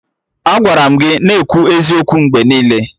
Agwara m gị na-ekwu eziokwu mgbe ọbụla!